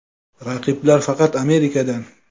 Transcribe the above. Raqiblar faqat Amerikadan.